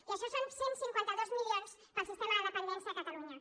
i això són cent i cinquanta dos milions per al sistema de dependència a catalunya